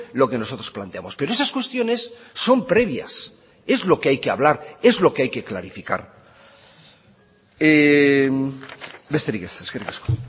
lo que nosotros planteamos pero esas cuestiones son previas es lo que hay que hablar es lo que hay que clarificar besterik ez eskerrik asko